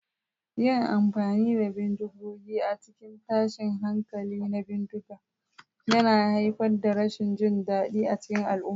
Yin amfani da bindigogi a cikin tashin hankali na bindiga yana haifar da rashin jin daɗi a cikin al'umma.